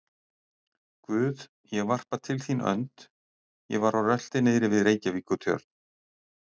Guð, ég varpa til þín önd, og var á rölti niðri við Reykjavíkurtjörn.